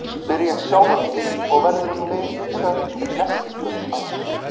spyr ég sjálfan mig, og verður um leið hugsað til nestisbauks hans.